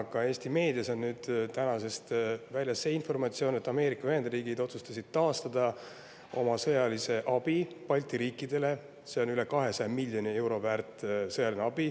Ka Eesti meedias on tänasest väljas see informatsioon, et Ameerika Ühendriigid otsustasid taastada oma sõjalise abi Balti riikidele, mis on väärt üle 200 miljoni euro.